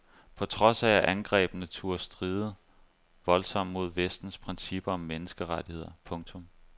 På trods af at angrebene turde stride voldsomt mod vestens principper om menneskerettigheder. punktum